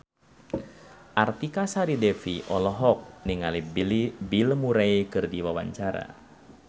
Artika Sari Devi olohok ningali Bill Murray keur diwawancara